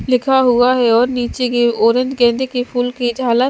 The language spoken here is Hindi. लिखा हुआ है और नीचे की ओर एक गेंदे फूल की झालर--